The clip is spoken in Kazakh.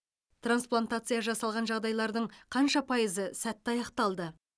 трансплантация жасалған жағдайлардың қанша пайызы сәтті аяқталды